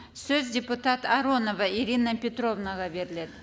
сөз депутат аронова ирина петровнаға беріледі